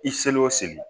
I selen o seli